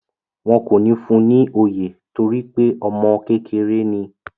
Wọn kò ní fún ni oyè torípé ọmọ kékeré ni.